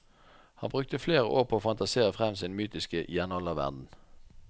Han brukte flere år på å fantasere frem sin mytiske jernalderverden.